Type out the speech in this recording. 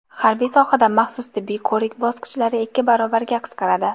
Harbiy sohada maxsus tibbiy ko‘rik bosqichlari ikki barobarga qisqaradi.